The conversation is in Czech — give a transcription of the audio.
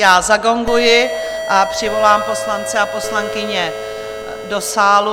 Já zagonguji a přivolám poslance a poslankyně do sálu.